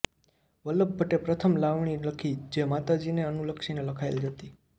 વલ્લભ ભટ્ટે પ્રથમ લાવણી લખી જે માતાજીને અનુલક્ષીને લખાયેલ હતી